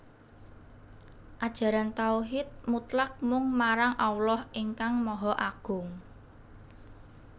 Ajaran tauhid mutlak mung marang Allah ingkang Maha Agung